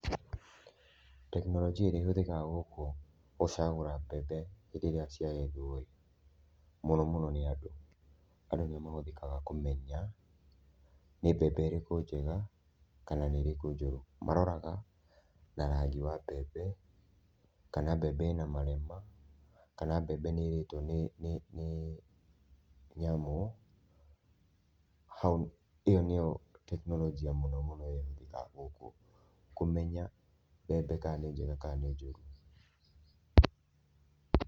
Tekinolonjia ĩrĩa ĩhũthĩkaga gũkũ gũcagũra mbembe, hĩndĩ ĩrĩa ciagethwoĩĩ, mũno mũno nĩ andũ, andũ nĩo mahũthĩkaga kũmenya nĩ mbembe ĩrĩkũ njega, kana nĩĩrĩkũ njũru, maroraga na rangi wa mbembe, kana mbembe ĩna marema, kana mbembe nĩĩrĩtwo nĩ nyamũ, ĩyo nĩyo tekinolonja mũno mũno ĩrĩa ĩhũthĩkaga gũkũ kũmenya mbembe kana nĩ njega kana njũrũ.